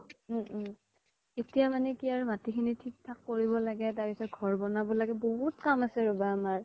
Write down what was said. উম উম এতিয়া মানে কি আৰু মাতি খিনি থিক থাক কৰিব লাগে তাৰ পিছ্ত ঘৰ বনাব লাগে বহুত কাম আছে ৰবা আমাৰ